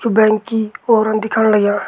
You bank की औरण दिखण लग्यां।